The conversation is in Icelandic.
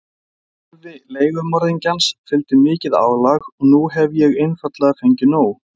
Starfi leigumorðingjans fylgir mikið álag og nú hef ég einfaldlega fengið nóg.